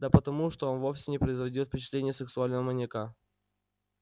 да потому что он вовсе не производил впечатления сексуального маньяка